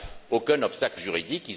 Il n'y a aucun obstacle juridique.